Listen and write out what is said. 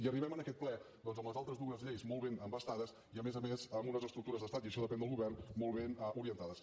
i arribem a aquest ple doncs amb les altres dues lleis molt ben embastades i a més a més amb unes estructures d’estat i això depèn del govern molt ben orientades